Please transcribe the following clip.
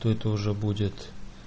то это уже будет